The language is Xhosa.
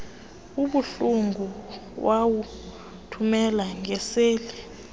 obuhlungu wawuthumela ngeseli